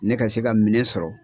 Ne ka se ka minɛn sɔrɔ.